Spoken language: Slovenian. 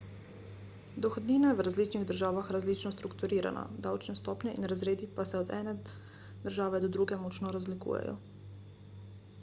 dohodnina je v različnih državah različno strukturirana davčne stopnje in razredi pa se od ene države do druge močno razlikujejo